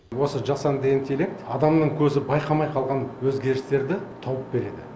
осы жасанды интеллект адамның көзі байқамай қалған өзгерістерді тауып береді